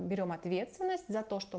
уберём ответственность за то что